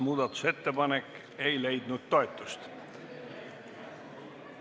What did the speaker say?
Muudatusettepanek ei leidnud toetust.